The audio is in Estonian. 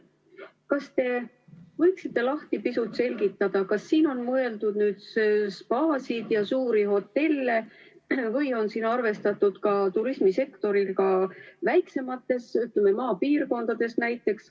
Kas te võiksite pisut selgitada, kas siin on mõeldud spaasid ja suuri hotelle või on siin arvestatud turismisektorit ka väiksemates maapiirkondades?